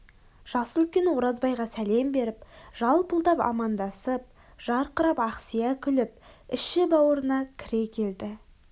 жасы үлкен оразбайға сәлем беріп жалпылдап амандасып жарқырап ақсия күліп іші-бауырына кіре келді